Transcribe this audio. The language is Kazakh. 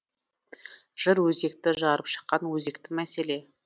жыр өзекті жарып шыққан өзекті мәселе